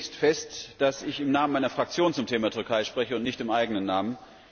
Ich stelle zunächst fest, dass ich im Namen meiner Fraktion zum Thema Türkei spreche und nicht im eigenen Namen.